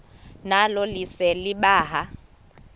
nalo lise libaha